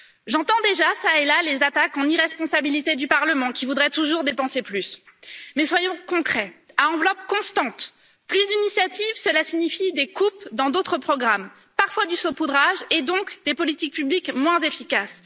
J'entends déjà ça et là, les attaques en irresponsabilité du Parlement qui voudrait toujours dépenser plus, mais soyons concrets à enveloppe constante, plus d'initiatives, cela signifie des coupes dans d'autres programmes, parfois du saupoudrage et donc des politiques publiques moins efficaces.